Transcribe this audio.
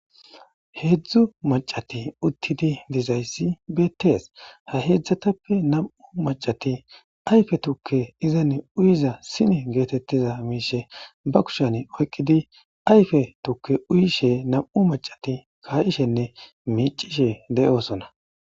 Hedzu maccati utidi dizayisi bettesi., ha hedzatappe namaphati ayife tuke izani uyiza sine getetida mishe ba kushiyani oyikidi ayife tuke uyishe namu'u maccati kayishene miccishe dossona